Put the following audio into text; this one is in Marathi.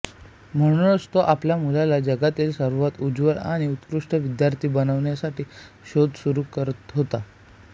म्हणूनच तो आपल्या मुलाला जगातील सर्वात उजळ आणि उत्कृष्ट विद्यार्थी बनविण्यासाठी शोध सुरू करहतो